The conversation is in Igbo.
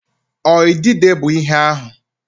Ọ idide bụ ihe ahụ?